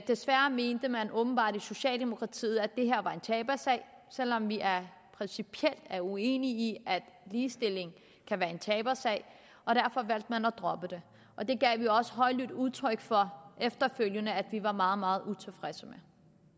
desværre mente man åbenbart i socialdemokratiet at det her var en tabersag selv om vi principielt er uenige i at ligestilling kan være en tabersag og derfor valgte man at droppe det og det gav vi også højlydt udtryk for efterfølgende at vi var meget meget utilfredse